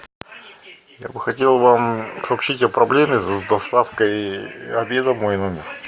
я бы хотел вам сообщить о проблеме с доставкой обеда в мой номер